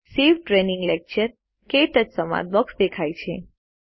save training lecture - ક્ટચ સંવાદ box દેખાય છે